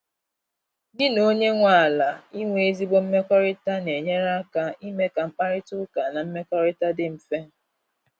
gi na onye nwe ala inwe ezigbo mmekọrịta na-enyere aka ime ka mkparịta ụka na mmekọrịta dị mfe.